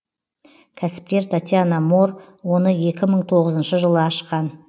кәсіпкер татьяна моор оны екі мың тоғызыншы жылы ашқан